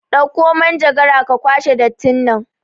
Ɗakko manjagara ka kwashe dattin nan